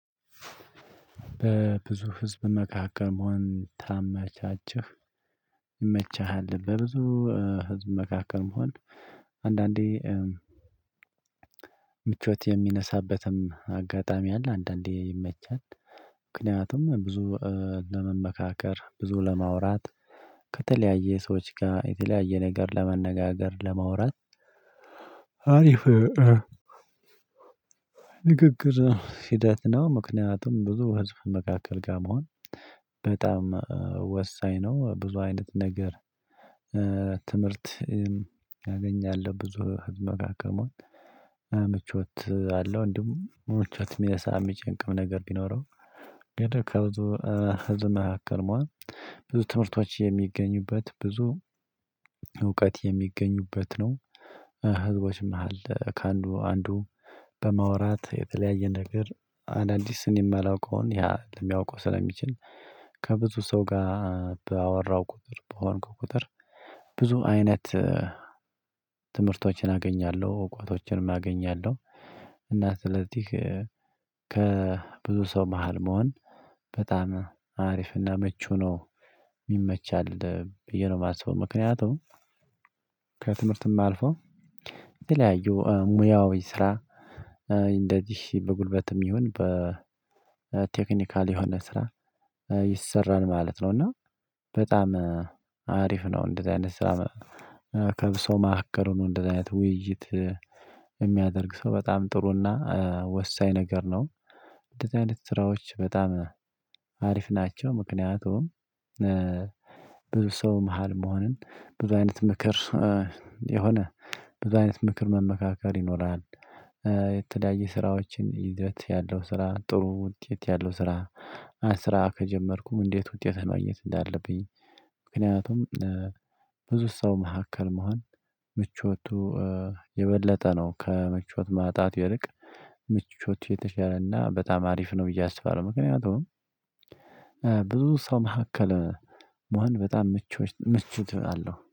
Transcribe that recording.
በብዙ ህዝብ መካከል መሆን ታመቻችሁ ይመችሃል? በብዙ ህዝብ መካከል መሆን አንዳንዴ ምቾት የሚነሳበትም አጋጣሚ አለ። አንዳንዴ ይመቻል ምክንያቱም ብዙ ለመመካከር ብዙ ለማውራት ከተለያየ ሰዎች ጋር የተለያየ ነገር ለመነጋገር ለማውራት አሪፍ ንግግር ሂደት ነው። ምክንያቱም ብዙ ህዝብ መካከል ጋር መሆን በጣም ወሳኝ ነው። ብዙ አይነት ነገር ትምህርት ያገኛለሁ ብዙ ህዝብ መካከል መሆን ምቾት አለው። እንደውም ምቾት የሚል ሰዓት የሚጨንቅም ነገር ቢኖረው ግን ከብዙ ህዝብ መካከል መሆን ብዙ ትምህርቶች የሚገኙበት ብዙ እውቀት የሚገኙበት ነው። ህዝቦች አለ ከአንዱ አንዱ በማውራት የተለያየ ነገር አንዳንድ እኔ የማላውቀውን ያ ለሚያውቀው ስለሚችል ከብዙ ሰው ጋር ባወራው ቁጥር በሆንክ ቁጥር ብዙ አይነት ትምህርቶችን አገኛለሁ እውቀቶችንም አገኛለሁ። እና አትሌቲክ ከብዙ ሰው መሃል መሆን በጣም አሪፍና መቹ ነው። ይመቻል የሆነ ማሰቡ ምክንያቱም ከትምህርትም አልፎ ሙያው ስራ እንደዚህ በጉልበትም ይሁን በቴክኒካል የሆነ ስራ ይሰራል ማለት ነው። እና በጣም አሪፍ ነው። እንደዚህ አይነት ስራ ከብሶ ማዕከሉ ነው እንደዚህ አይነት ውይይት የሚያደርግ ሰው በጣም ጥሩና ወሳኝ ነገር ነው። እንደዚህ አይነት ስራዎች በጣም አሪፍ ናቸው። ምክንያቱም ብዙ ሰው መሃል መሆንን ብዙ አይነት ምክር የሆነ ብዙ አይነት ምክር መመካከር ይኖራል። የተዳየ ስራዎችን ይዘት ያለው ስራ ጥሩ ውጤት ያለው ስራ። ስራ ከጀመርኩ እንዴት ውጤት ማግኘት እንዳለብኝ? ምክንያቱም ብዙ ሰው መካከል መሆን ምቾቱ የበለጠ ነው ከመቾት ማጣት ይልቅ ምቾት የተሻለና በጣም አሪፍ ነው ብዬ አስባለሁ። ምክንያቱም ብዙ ሰው መካከል መሆን በጣም ምቹ ምቹ አለው